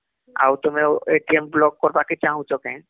ଆଉ ତୁମେ block କାର୍ବାକେ ଚାଁହୁଛ କେ